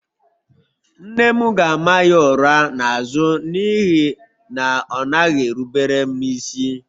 Nne m ga-ama ya ụra n'azụ n'ihi na ọ naghị erubere m isi